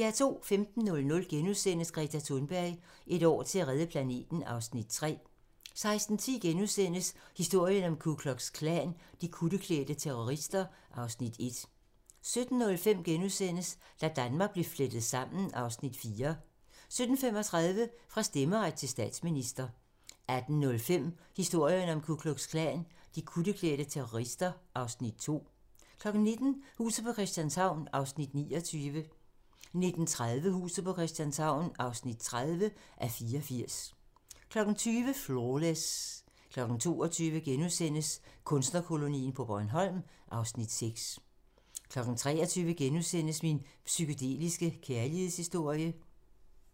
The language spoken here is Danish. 15:00: Greta Thunberg: Et år til at redde planeten (Afs. 3)* 16:10: Historien om Ku Klux Klan: De kutteklædte terrorister (Afs. 1)* 17:05: Da Danmark blev flettet sammen (Afs. 4)* 17:35: Fra stemmeret til statsminister 18:05: Historien om Ku Klux Klan: De kutteklædte terrorister (Afs. 2) 19:00: Huset på Christianshavn (29:84) 19:30: Huset på Christianshavn (30:84) 20:00: Flawless 22:00: Kunstnerkolonien på Bornholm (Afs. 6)* 23:00: Min psykedeliske kærlighedshistorie *